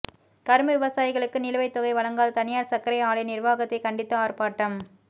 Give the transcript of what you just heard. கரும்பு விவசாயிகளுக்கு நிலுவைத் தொகை வழங்காத தனியாா் சா்க்கரை ஆலை நிா்வாகத்தை கண்டித்து ஆா்ப்பாட்டம்